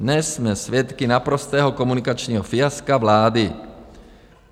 Dnes jsme svědky naprostého komunikačního fiaska vlády.